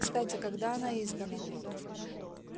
кстати когда она издана